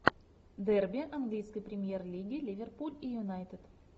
дерби английской премьер лиги ливерпуль и юнайтед